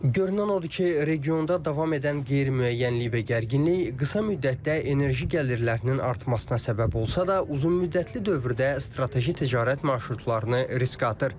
Görünən odur ki, regionda davam edən qeyri-müəyyənlik və gərginlik qısa müddətdə enerji gəlirlərinin artmasına səbəb olsa da, uzunmüddətli dövrdə strateji ticarət marşrutlarını riskə atır.